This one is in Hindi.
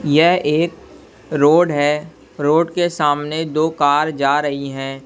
यह एक रोड है रोड के सामने दो कार जा रही हैं।